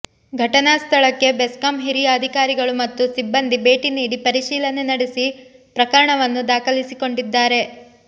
ಘಟನಾ ಸ್ಥಳಕ್ಕೆ ಬೆಸ್ಕಾಂ ಹಿರಿಯ ಅಧಿಕಾರಿಗಳು ಮತ್ತು ಸಿಬ್ಬಂದಿ ಭೇಟಿ ನೀಡಿ ಪರಿಶೀಲನೆ ನಡೆಸಿ ಪ್ರಕರಣವನ್ನು ದಾಖಲಿಸಿಕೊಂಡಿದ್ದಾರೆ